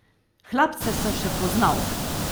Hlapce sem še poznal.